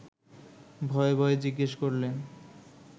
ভয়ে ভয়ে জিজ্ঞেস করলেন